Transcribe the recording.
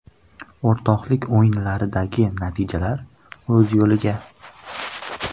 O‘rtoqlik o‘yinlaridagi natijalar o‘z yo‘liga.